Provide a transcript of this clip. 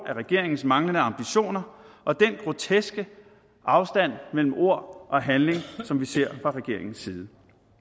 af regeringens manglende ambitioner og den groteske afstand mellem ord og handling som vi ser fra regeringens side